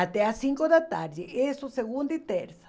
até às cinco da tarde, isso segunda e terça.